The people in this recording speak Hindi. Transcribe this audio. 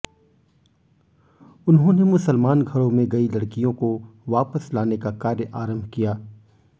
उन्होंने मुसलमान घरों में गई लडकियों को वापस लाने का कार्य आरंभ किया